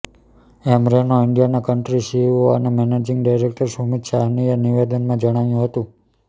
એમ Renault ઇન્ડિયાના country CEO અને managing director Sumit સાહનીએ નિવેદનમાં જણાવ્યું હતું